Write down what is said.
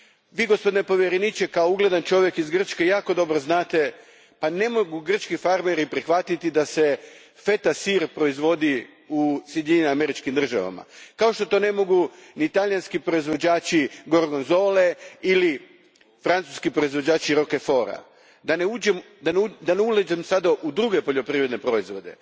Vi gospodine povjereniče, kao ugledan čovjek iz Grčke, jako dobro znate da grčki farmeri ne mogu prihvatiti da se feta sir proizvodi u Sjedinjenim Američkim Državama, kao što to ne mogu ni talijanski proizvođači gorgonzole ili francuski proizvođači roqueforta, da ne ulazim sada u druge poljoprivredne proizvode.